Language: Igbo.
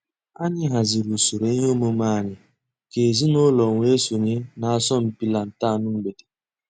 Ànyị̀ hàzìrì ǔsòrò ìhè òmùmè ànyị̀ kà èzìnùlọ̀ wée sọǹyé n'àsọ̀mpị lantern mgbèdè.